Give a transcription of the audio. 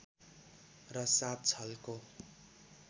र सात छलको